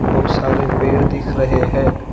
बहुत सारे पेड़ दिख रहे है।